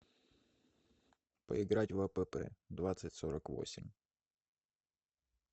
поиграть в апп двадцать сорок восемь